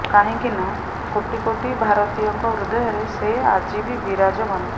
କାହିଁକି ନା କୋଟି କୋଟି ଭାରତୀୟଙ୍କ ହୃଦୟରେ ସେ ଆଜି ବି ବିରାଜମାନ